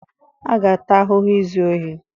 A ga-ata ahụhụ izu ohi.